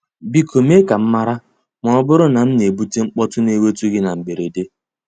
Biko mee ka m mara ma ọ bụrụ na m na-ebute mkpọtụ na-ewute gị na mberede.